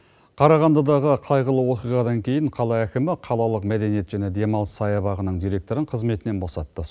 қарағандыдағы қайғылы оқиғадан кейін қала әкімі қалалық мәдениет және демалыс саябағының директорын қызметінен босатты